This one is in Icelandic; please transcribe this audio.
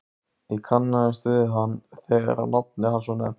Ég kannaðist við hann þegar nafnið hans var nefnt.